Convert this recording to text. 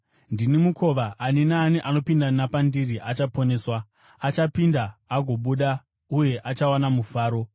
Ndini mukova; ani naani anopinda napandiri achaponeswa. Achapinda agobuda, uye achawana mafuro.